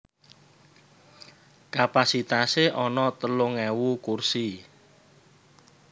Kapasitasé ana telung ewu kursi